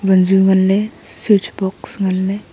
vanju nganley switch box nganley.